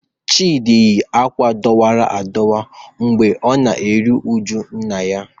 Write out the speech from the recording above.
Chidi yi akwa adọwara adọwa mgbe ọ na-eru uju nna ya.